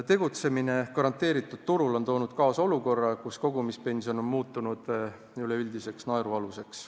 Tegutsemine garanteeritud turul on toonud kaasa olukorra, kus kogumispension on muutunud üleüldiseks naerualuseks.